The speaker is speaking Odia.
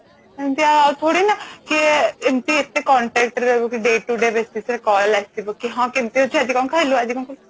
ଏମିତି ଥୋଡି ନା କିଏ ଆଉ contact ରେ ରହିବ day to day basis ରେ call ଆସିବ କି ହଁ କେମିତି ଅଛୁ ଆଜି କଣ ଖାଇଲୁ ଆଜି କଣ କଲୁ